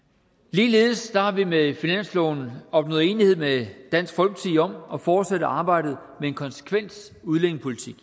ligeledes har vi med finansloven opnået enighed med dansk folkeparti om at fortsætte arbejdet med en konsekvent udlændingepolitik